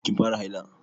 Kin fara haila?